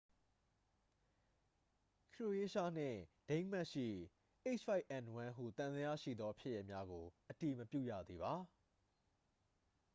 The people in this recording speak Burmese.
ခရိုအေးရှားနှင့် ဒိန်းမတ်ရှိ h၅n၁ ဟုသံသယရှိသောဖြစ်ရပ်များကို အတည်မပြုရသေးပါ။